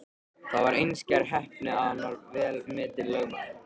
Það var einskær heppni að hann varð vel metinn lögmaður.